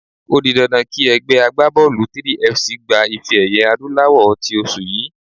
O di dandan kí ẹgbẹ́ agbábọ́ọ̀lù 3FC gba ife-ẹ̀yẹ adúláwọ̀ tí oṣù yìí.